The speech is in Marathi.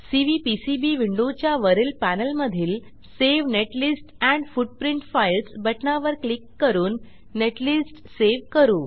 सीव्हीपीसीबी विंडोच्या वरील पॅनेलमधील save netlist and footprint files बटणावर क्लिक करून नेटलिस्ट सेव्ह करू